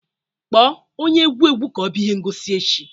Kpọọ onye egwu egwu ka ọ bịa ihe ngosi echi